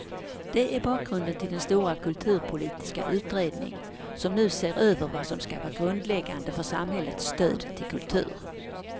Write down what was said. Det är bakgrunden till den stora kulturpolitiska utredning som nu ser över vad som ska vara grundläggande för samhällets stöd till kultur.